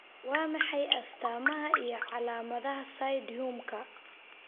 Waa maxay astamaha iyo calaamadaha Pseudoainhumka?